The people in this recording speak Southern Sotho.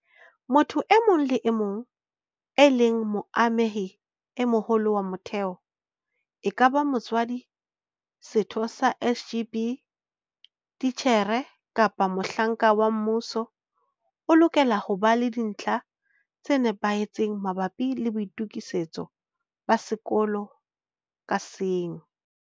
Motho e mong le e mong eo e leng moamehi e moholo wa motheo, ekaba motswadi, setho sa SGB, titjhere kapa mohlanka wa mmuso, o lokela ho ba le dintlha tse nepahetseng mabapi le boitokisetso ba sekolo ka seng.